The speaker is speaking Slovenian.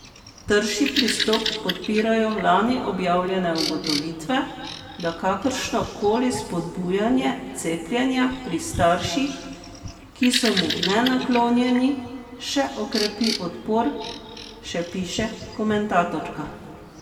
Trši pristop podpirajo lani objavljene ugotovitve, da kakršno koli spodbujanje cepljenja pri starših, ki so mu nenaklonjeni, še okrepi odpor, še piše komentatorka.